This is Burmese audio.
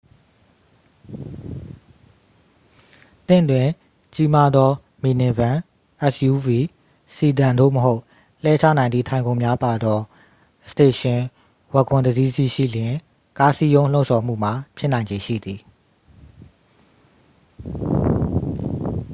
သင့်တွင် ကြီးမားသော မီနီဗင် suv စီဒန် သို့မဟုတ် လှဲချနိုင်သည့် ထိုင်ခုံများပါသော စတေရှင် ဝဂွန် တစ်စီးစီးရှိလျှင် ကားစည်းရုံးလှုံ့ဆော်မှုမှာ ဖြစ်နိုင်ခြေရှိသည်